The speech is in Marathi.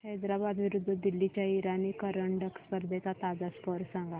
हैदराबाद विरुद्ध दिल्ली च्या इराणी करंडक स्पर्धेचा ताजा स्कोअर सांगा